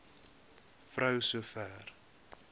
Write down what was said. vrou so ver